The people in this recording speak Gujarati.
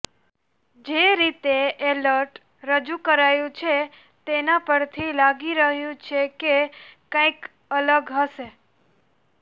જે રીતે એલર્ટ રજૂ કરાયું છે તેના પરથી લાગી રહ્યું છે કે કંઇક અલગ હશે